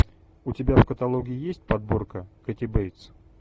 у тебя в каталоге есть подборка кэти бейтс